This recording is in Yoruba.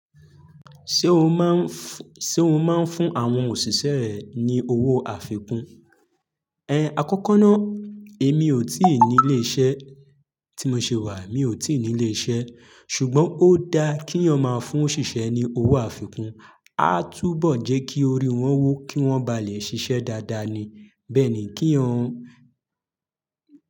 Ṣe o máa ń fún àwọn òṣìṣẹ́ ẹ ní owó àfikún? Ẹ̀, àkọ́kọ́ náà èmi ò tí ì ní ilé iṣẹ́ tí mo ṣe wà, mi ò tí ì ní ilé iṣẹ́ ṣùgbọ́n ó dá kí ọn máa fún òṣìṣẹ́ ní owó àfikún. A túbọ̀ jẹ́ kí orí wọn wó kí wọ́n ba lè ṣiṣẹ́ dáadáa ni. Bẹ́ẹ̀ ni kí ọ̀ ń.